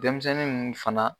Denmisɛnnin nn fana